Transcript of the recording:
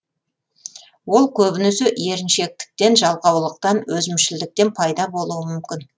ол көбінесе еріншектіктен жалқаулықтан өзімшілдіктен пайда болуы мүмкін